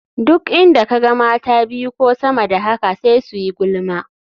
Duk inda ka ga mata biyu ko sama da haka sai su yi gulma.